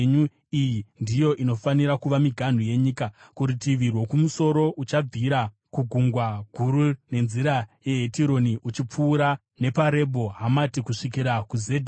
“Iyi ndiyo inofanira kuva miganhu yenyika: “Kurutivi rwokumusoro uchabvira kuGungwa Guru nenzira yeHetironi uchipfuura nepaRebho Hamati kusvikira kuZedhadhi,